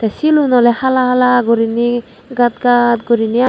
hill un ole hala hala guriney gat gat guriney agey.